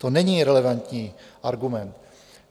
To není relevantní argument.